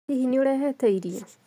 Hihi nĩũrehete irio?